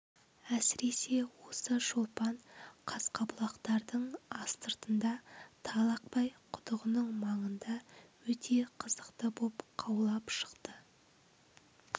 әсіресе осы шолпан қасқабұлақтардың астыртында тайлақпай құдығының маңында өте қызықты боп қаулап шықты